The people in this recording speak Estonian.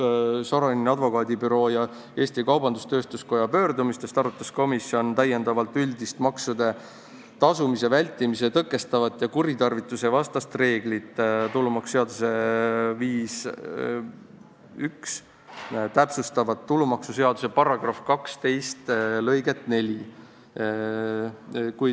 Soraineni advokaadibüroo ja Eesti Kaubandus-Tööstuskoja pöördumistest lähtudes arutas komisjon üldist maksude tasumise vältimist tõkestavat ja kuritarvituste vastast reeglit, tulumaksuseaduse § 51 täpsustavat tulumaksuseaduse § 12 lõiget 4.